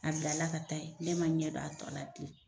A bilala ka taa yen. Ne ma ɲɛ dɔn a tɔ la